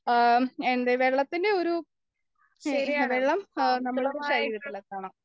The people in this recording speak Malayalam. എ എന്ത് വെള്ളത്തിന്റെ ഒരു വെള്ളം നമ്മുടെ ശരീരത്തിലെത്തണം